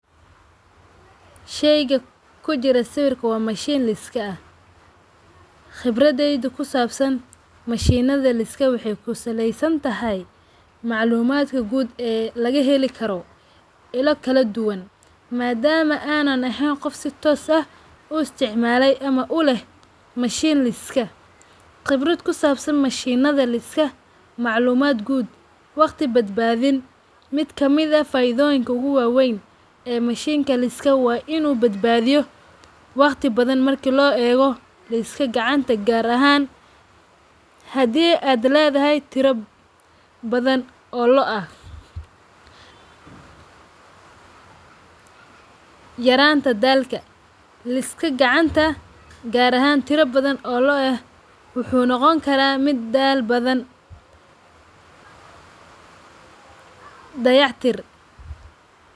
Shayga kujiro sawirka waa machine liska aah. Khibraday kusabsan machine nadha waxay kusalesantahy maclumaatka guud ee lagaheli karoo ila kaladuwaan. Madaama aan eheen qoof si toos u isticmale ama uleh machine laaiska khibrad kusabsan machine adha laiska maclumaad guud waqti badbaadhin miid kamid ahh faidhoyiinka uga waweyn ay machine ka waa inu badbadhiyo waqti badhaan marki loo ego laiska gacanta gaabiyo gaar ahan hadii adh leydahay tirabadhan oo lo`o ah. Yaranka daalka laiska gacanta qaar ahaan tira badhaan oo loo`o ah wuxu nogoon kara mid daal badan dayactir.